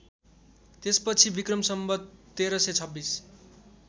त्यसपछि विक्रम सम्वत १३२६